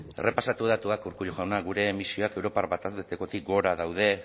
errepasatu datuak urkullu jauna gure emisioak europar batez bestekotik gora daude